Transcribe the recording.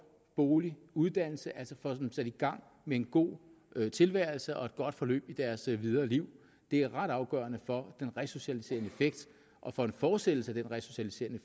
bolig uddannelse altså får dem sat i gang med en god tilværelse og et godt forløb i deres videre liv det er ret afgørende for den resocialiserende effekt og for en fortsættelse af den resocialiserende